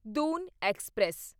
Doon express